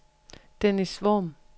Dennis Worm